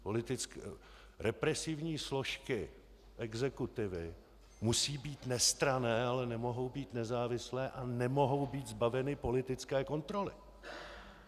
Represivní složky exekutivy musí být nestranné, ale nemohou být nezávislé a nemohou být zbaveny politické kontroly.